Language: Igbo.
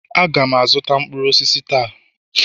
Aga m azụta mkpụrụ osisi taa